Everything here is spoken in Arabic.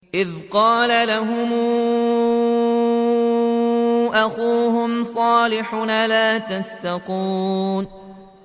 إِذْ قَالَ لَهُمْ أَخُوهُمْ صَالِحٌ أَلَا تَتَّقُونَ